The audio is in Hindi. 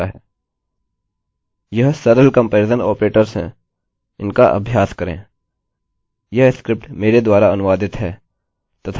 यह सरल कम्पेरिज़न आपरेटर्स हैं इनका अभ्यास करें